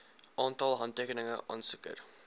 aantal handtekeninge aansoeker